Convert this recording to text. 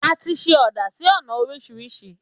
Àtí sẹ ọdà sí ọna òrísìrísì